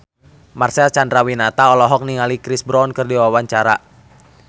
Marcel Chandrawinata olohok ningali Chris Brown keur diwawancara